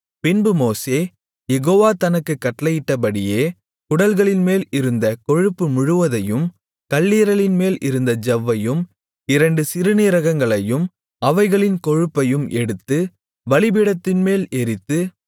பின்பு மோசே யெகோவா தனக்குக் கட்டளையிட்டபடியே குடல்களின்மேல் இருந்த கொழுப்பு முழுவதையும் கல்லீரலின்மேல் இருந்த ஜவ்வையும் இரண்டு சிறுநீரகங்களையும் அவைகளின் கொழுப்பையும் எடுத்து பலிபீடத்தின்மேல் எரித்து